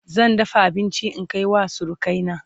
zan dafa abinci in Kai wa surukai na